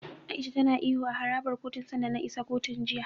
A'isha tana ihu a harabar kotun sanda na isa kotun, jiya.